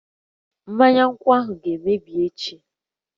Mmanya nkwu ga-emebi echi